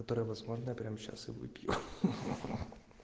которое возможно я прямо сейчас и выпью